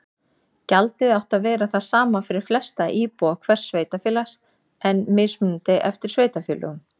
Gjaldið átti að vera það sama fyrir flesta íbúa hvers sveitarfélags en mismunandi eftir sveitarfélögum.